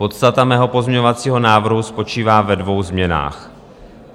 Podstata mého pozměňovacího návrhu spočívá ve dvou změnách.